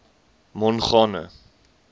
mongane